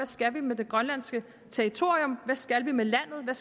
skal med det grønlandske territorium vi skal med landet hvad